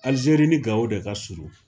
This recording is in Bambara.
Alizeri ni gawo de ka surun